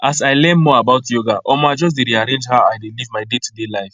as i learn more about yoga omo i just rearrange how i dey live my daytoday life